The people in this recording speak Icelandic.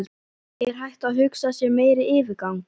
Er hægt að hugsa sér meiri yfirgang?